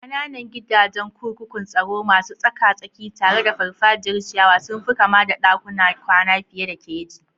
Ƙananan gidajen kurkukun tsaro, masu tsaka-tsaki tare da farfajiyar ciyawa, sun fi kama da dakunan kwana fiye da keji.